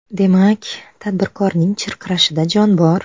Demak, tadbirkorning chirqirashida jon bor.